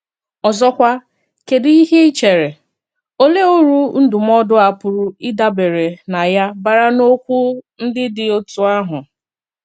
Ọ̀zọ̀kwà, kédù íhè ì chèèrè – òlee ùrù ndúmòdù a pùrù ìdàbèrè nà ya bàrà n’òkwù ndí dị̀ òtú àhụ̀?